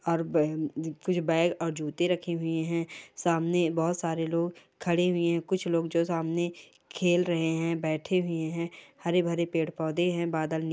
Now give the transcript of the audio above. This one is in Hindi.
और बै उ म कुच बैग और जूते रखे हुए है सामने बहुत सारे लोग खड़े हुए है कुछ लोग जो सामने खेल रहे है बैठे हुए है हरे-भरे पेड़-पौधे है बादल नील--